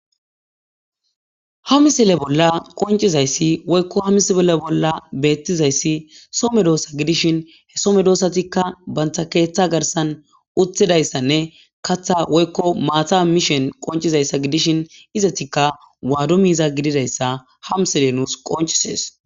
Ha misile bolla qonccizayssi woykko ha misile bolla beettizayssi soo medosa gidishinka so medosakka banta keeththa garssan uttidayssanne kaththa woykko maata mishin qonccizayssa gidishin izetikka waado miiza gididayssa ha misiley nuus qonccises.